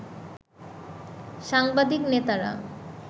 সাংবাদিক নেতারা